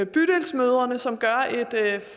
bydelsmødrene som gør et